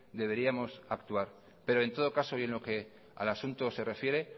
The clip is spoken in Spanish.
deberíamos actuar pero en lo que al asunto se refiere